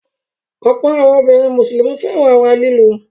Ọ̀pọ̀ àwọn obìnrin Mùsùlùmí fẹ́ràn ara lílù.